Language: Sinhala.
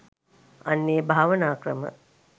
අන්න ඒ භාවනා ක්‍රම